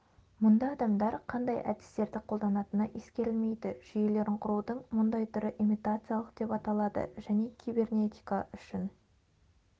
мұнда адамдар қандай әдістерді қолданатыны ескерілмейді жүйелерін құрудың мұндай түрі имитациялық деп аталады және кибернетика үшін